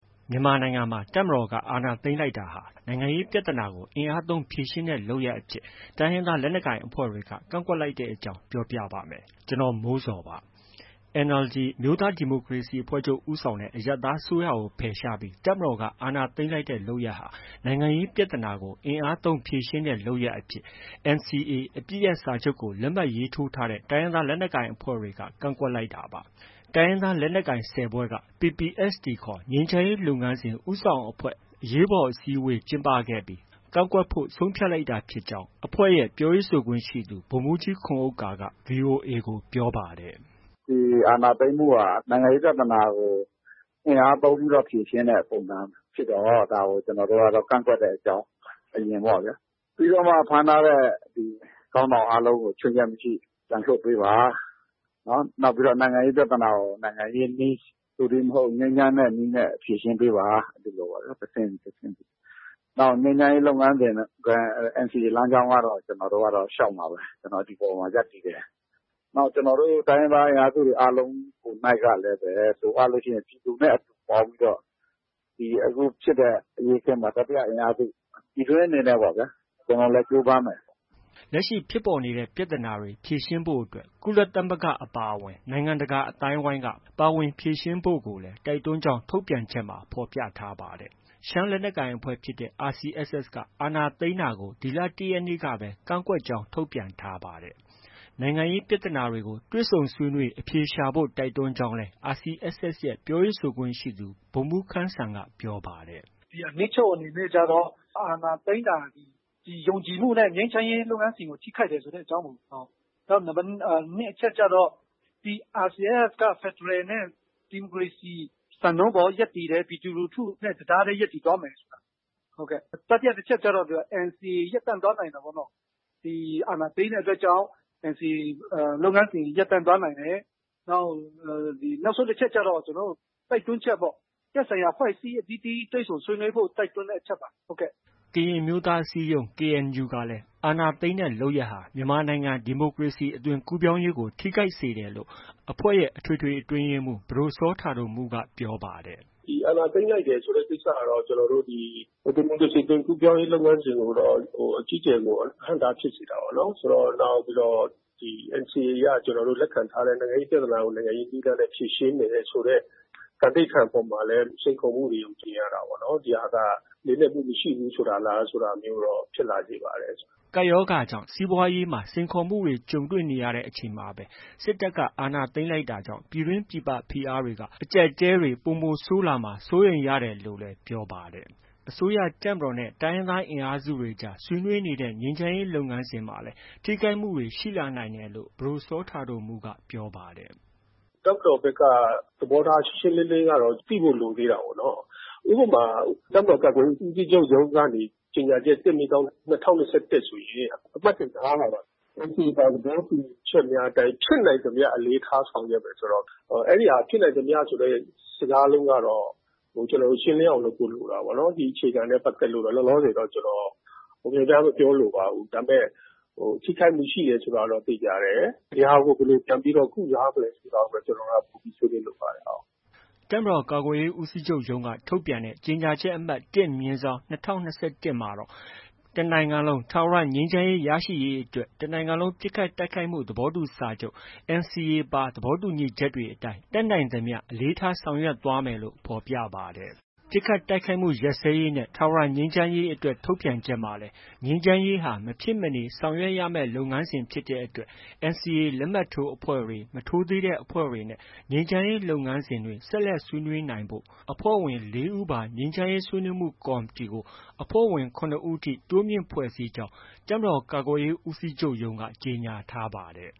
မြန်မာနိုင်ငံမှာ တပ်မတော်က အာဏာသိမ်းလိုက်တာဟာ နိုင်ငံရေးပြဿနာကို အင်အားသုံး ဖြေရှင်းတဲ့ လုပ်ရပ်အဖြစ် တိုင်းရင်းသား လက်နက်ကိုင်အဖွဲ့တွေက ကန့်ကွက်လိုက်တဲ့အကြောင်း ပြောပြပါမယ်။ ဗွီအိုအေမြန်မာပိုင်း သတင်းထောက် ကိုမိုးဇော်က သတင်းပေးပို့ထားပါတယ်။ NLD အမျိုးသားဒီမိုကရေစီအဖွဲ့ချုပ် ဦးဆောင်တဲ့ အရပ်သားအစိုးရကို ဖယ်ရှားပြီး တပ်မတော်က အာဏာသိမ်းလိုက်တဲ့ လုပ်ရပ်ဟာ နိုင်ငံရေး ပြဿနာကို အင်အားသုံးဖြေရှင်းတဲ့ လုပ်ရပ်အဖြစ် NCA အပစ်ရပ် စာချုပ်ကို လက်မှတ်ထိုးထားတဲ့ တိုင်းရင်းသားလက်နက်ကိုင်အဖွဲ့တွေက ကန့်ကွက်လိုက်တာပါ။ တိုင်းရင်းသားလက်နက်ကိုင် ၁၀ ဖွဲ့က PPST ခေါ် ငြိမ်းချမ်းရေးလုပ်ငန်းစဉ် ဦးဆောင်အဖွဲ့ အရေးပေါ် အစည်းအဝေး ကျင်းပခဲ့ပြီး ကန့်ကွက်ဖို့ ဆုံးဖြတ်လိုက်တာဖြစ်ကြောင်း အဖွဲ့ရဲ့ ပြောရေးဆိုခွင့်ရှိသူ ဗိုလ်မှူးကြီးခွန်ဥက္ကာက VOA ကို ပြောပါတယ်။ “ဒီအာဏာသိမ်းမှုက နိုင်ငံရေးပြဿနာကို အင်အားသုံးပြီး ဖြေရှင်းတဲ့ပုံစံဖြစ်တော့ ဒါကို ကျနော်တို့က ကန့်ကွက်တဲ့အကြောင်း အရင်ပေါ့ဗျာ။ ပြီးတော့မှ ဖမ်းထားတဲ့ခေါင်းဆောင်အားလုံးကို ခြွင်းချက်မရှိ ပြန်လွှတ်ပေးပါ။ နောက် နိုင်ငံရေးပြဿနာကို နိုင်ငံရေးနည်း သို့တည်းမဟုတ် ငြိမ်းချမ်းတဲ့နည်းနဲ့ ဖြေရှင်းပေးပါ။ ဒီလိုပေါ့ဗျာ။ တဆင့်ပြီး တဆင့်။ နောက် ငြိမ်းချမ်းရေးလုပ်ငန်းစဉ်နဲ့ NCA လမ်းကြောင်းကတော့ ကျနော်တို့က လျှောက်မှာပဲ။ ကျနော်တို့ ဒီပေါ်မှာ ရပ်တည်တယ်။ နောက် ကျနော်တို့ တိုင်းရင်းသားအင်အားစုတွေ ကိုယ်နှိုက်ကလည်းပဲ လိုအပ်လို့ရှိရင် ပြည်သူနဲ့အတူပေါင်းပြီးတော့ အခုဖြစ်တဲ့အရေးအခင်းမှာ တတိယအင်အားစု ပြည်တွင်းအနေနဲ့ပေါ့ဗျာ... ကျနော်တို့လည်း ကြိုးပမ်းမယ်။” လက်ရှိ ဖြစ်ပေါ်နေတဲ့ ပြဿနာတွေ ဖြေရှင်းဖို့အတွက်ကို ကုလသမဂ္ဂအပါအဝင် နိုင်ငံတကာအသိုင်းအဝိုင်းက ပါဝင်ဖြေရှင်းဖို့ကိုလည်း တိုက်တွန်းကြောင်း ထုတ်ပြန်ချက်မှာ ဖော်ပြထားပါတယ်။ ရှမ်းလက်နက်ကိုင်အဖွဲ့ဖြစ်တဲ့ RCSS က အာဏာသိမ်းတာကို ဒီလ ၁ ရက်နေ့ကပဲ ကန့်ကွက်ကြောင်း ထုတ်ပြန်ထားပါတယ်။ နိုင်ငံရေး ပြဿနာတွေကို တွေ့ဆုံဆွေးနွေးအဖြေရှာဖို့ တိုက်တွန်းကြောင်းလည်း RCSS ရဲ့ ပြောရေးဆိုခွင့်ရှိသူ ဗိုလ်မှူးခမ်းစံက ပြောပါတယ်။ “အနှစ်ချုပ်အနေနဲ့ကျတော့ အာဏာသိမ်းတာ ဒီယုံကြည်မှုနဲ့ ငြိမ်းချမ်းရေးလုပ်ငန်းစဉ်ကို ထိခိုက်တယ်ဆိုတဲ့အကြောင်း။ နောက် နံပတ် ၂ ကျတော့ RCSS က ဖက်ဒရယ်နဲ့ ဒီမိုကရေစီ စံနှုန်းအပေါ် ရပ်တည်တယ်။ ပြည်သူလူထုနဲ့ တစ်သားတည်း ရပ်တည်သွားမယ်ဆိုတာ။ တတိယအချက်ကျတော့ NCA ရပ်တန့်သွားနိုင်တယ်ပေါ့နော်။ အာဏာသိမ်းတဲ့အတွက်ကြောင့် NCA လုပ်ငန်းစဉ်တွေ ရပ်တန့်သွားနိုင်တယ်။ နောက်ဆုံးတစ်ချက်ကျတော့ ကျနော်တို့ တိုက်တွန်းချက်ပေါ့။ သက်ဆိုင်ရာအဖွဲ့အစည်းအသီးသီး တွေ့ဆုံဆွေးနွေးဖို့ တိုက်တွန်းတဲ့အချက်ပါ။” ကရင်အမျိုးသားအစည်းအရုံး KNU ကလည်း အာဏာသိမ်းတဲ့ လုပ်ရပ်ဟာ မြန်မာနိုင်ငံ ဒီမိုကရေစီအသွင်ကူးပြောင်းရေးကို ထိခိုက်စေတယ်လို့ အဖွဲ့ရဲ့ အထွေထွေ အတွင်းရေးမှူး ပဒိုစောတာဒိုမှုးက ပြောပါတယ်။ “ဒီအာဏာသိမ်းလိုက်တယ်ဆိုတဲ့ ကိစ္စကတော့ ဒီမိုကရေစီအသွင်ကူးပြောင်းရေးကို အကြီးအကျယ် အဟန့်အတားဖြစ်စေတာပေါ့။ နောက်ပြီးတော့ NCA အရ ကျနော်တို့ လက်ခံထားတဲ့ နိုင်ငံရေးပြဿနာကို နိုင်ငံရေးနည်းလမ်းနဲ့ ဖြေရှင်းမယ်ဆိုတဲ့ သံဓိဌာန်အပေါ်မှာလည်း စိန်ခေါ်မှုတွေ မြင်ရတာပေါ့နော်။ ဒီဟာက လေးနက်မှု မရှိဘူးဆိုတာလား ဆိုတာမျိုးတော့ ဖြစ်လာစေပါတယ်။” ကိုဗစ်ကပ်ရောဂါကြောင့် စီးပွားရေးမှာ စိန်ခေါ်မှုတွေ ကြုံနေရတဲ့ အချိန်မှာပဲ စစ်တပ်က အာဏာသိမ်းလိုက်တာကြောင့် ပြည်တွင်း၊ ပြည်ပ ဖိအားတွေက အကြပ်အတည်းတွေ ပိုဆိုးလာမှာ စိုးရိမ်ရတယ်လို့လည်း ပြောပါတယ်။ အစိုးရ၊ တပ်မတော်နဲ့ တိုင်းရင်းသား အင်အားစုတွေကြား ဆွေးနွေးနေတဲ့ ငြိမ်းချမ်းရေး လုပ်ငန်းစဉ်မှာလည်း ထိခိုက်မှုတွေ ရှိလာနိုင်တယ်လို့ ပဒိုစောတာဒိုမှုးကပြောပါတယ်။ “တပ်မတော်ဘက်က သဘောထား ရှင်းရှင်းလင်းလင်းကတော့ သိဖို့ လိုသေးတာပေါ့နော်။ ဥပမာ တပ်မတော်ကာကွယ်ရေးဦးစီးချုပ် ရုံးကနေ ကြေညာချက် ၁/၂၀၂၁ ဆိုရင် အမှတ်စဉ် ၅ မှာက NCA ပါ သဘောတူညီချက်များအတိုင်း ဖြစ်နိုင်သမျှ အလေးထားဆောင်ရွက်မယ်ဆိုတော့ အဲဒီဟာ ဖြစ်နိုင်သမျှ ဆိုတဲ့ စကားလုံးကတော့ ကျနော်တို့ ရှင်းလင်းအောင် လုပ်ဖို့ လိုတာပေါ့နော်။ ဒီအခြေခံနဲ့ပတ်သက်လို့တော့ လောလောဆယ်တော့ ကျနော် များများ မပြောလိုပါဘူး။ ဒါပေမဲ့ ထိခိုက်မှုရှိတယ်ဆိုတာတော့ သေချာတယ်။ ဒီဟာကို ဘယ်လို ပြန်လည်ပြီးတော့ ကုစားမလဲဆိုတာပဲ ကျနော်က ပိုပြီးဆွေးနွေးလိုပါတယ်။” တပ်မတော်ကာကွယ်ရေးဦးစီးချုပ်ရုံးက ထုတ်ပြန်တဲ့ ကြေညာချက်အမှတ် ၁/၂၀၂၁ မှာတော့ တစ်နိုင်ငံလုံး ထာဝရ ငြိမ်းချမ်းရေး ရရှိရေးအတွက် တစ်နိုင်ငံလုံးပစ်ခတ်တိုက်ခိုက်မှု ရပ်စဲရေးသဘောတူစာချုပ် NCA ပါ သဘောတူညီချက်တွေအတိုင်း တတ်နိုင်သမျှ အလေးထားဆောင်ရွက်သွားမယ်လို့ ဖော်ပြပါတယ်။ ပစ်ခိုက်တိုက်ခိုက်မှုရပ်စဲရေးနဲ့ ထာဝရငြိမ်းချမ်းရေးအတွက် ထုတ်ပြန်ချက်မှာလည်း ငြိမ်းချမ်းရေးဟာ မဖြစ်မနေဆောင်ရွက်ရမယ့် လုပ်ငန်းစဉ်ဖြစ်တဲ့အတွက် NCA လက်မှတ်ထိုးအဖွဲ့တွေ၊ မထိုးသေးတဲ့အဖွဲ့တွေနဲ့ ငြိမ်းချမ်းရေးလုပ်ငန်းစဉ်တွေ ဆက်လက်ဆွေးနွေးနိုင်ဖို့ အဖွဲ့ဝင် ၄ ဦးပါ ငြိမ်းချမ်းရေးဆွေးနွေးမှုကော်မတီကို အဖွဲ့ဝင် ၇ ဦးထိ တိုးမြှင့်ဖွဲ့စည်းကြောင်း တပ်မတော်ကာကွယ်ရေးဦးစီးချုပ်ရုံးက ကြေညာထားပါတယ်